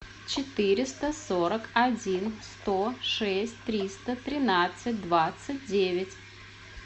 четыреста сорок один сто шесть триста тринадцать двадцать девять